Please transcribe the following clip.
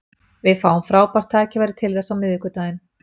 Við fáum frábært tækifæri til þess á miðvikudaginn.